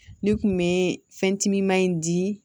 Ne kun bɛ fɛn timiman in di